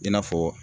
I n'a fɔ